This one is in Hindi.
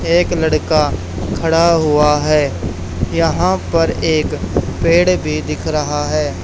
एक लड़का खड़ा हुआ है यहां पर एक पेड़ भी दिख रहा है।